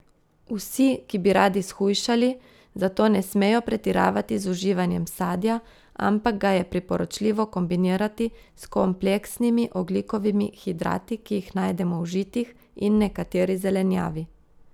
Vsi, ki bi radi shujšali, zato ne smejo pretiravati z uživanjem sadja, ampak ga je priporočljivo kombinirati s kompleksnimi ogljikovimi hidrati, ki jih najdemo v žitih in nekateri zelenjavi.